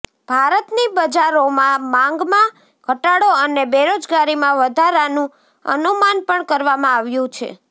ભારતની બજારોમાં માંગમાં ઘટાડો અને બેરોજગારીમાં વધારાનું અનુમાન પણ કરવામાં આવ્યું છે